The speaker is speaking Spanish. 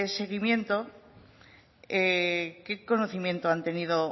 seguimiento qué conocimiento han tenido